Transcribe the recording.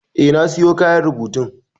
Eh na siyo kayan rubutun.